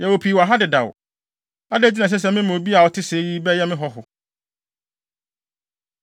Yɛwɔ pii wɔ ha dedaw! Adɛn nti na ɛsɛ sɛ mema obi a ɔte sɛɛ yi bɛyɛ me hɔho?”